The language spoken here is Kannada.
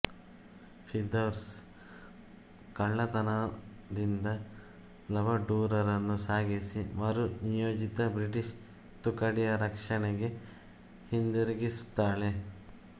ಫಿರ್ದೌಸ್ ಕಳ್ಳತನದಿಂದ ಲಬಡೂರರನ್ನು ಸಾಗಿಸಿ ಮರು ನಿಯೋಜಿತ ಬ್ರಿಟಿಷ್ ತುಕಡಿಯ ರಕ್ಷಣೆಗೆ ಹಿಂತಿರುಗಿಸುತ್ತಾಳೆ